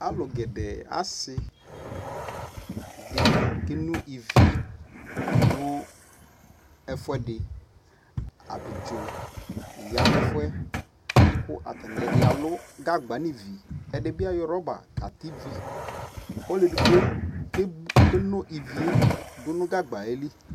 Alulu ɔbu ɛkualɛ nu ɛdini kika di li Uvi di ya nu ata mia lɔka ɣɛ sɛ na fa